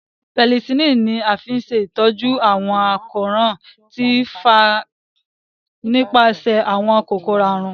Penicillin ní a fí ṣe ìtọjú àwọn àkóràn tí o fà nípasẹ àwọn kòkòrò àrùn.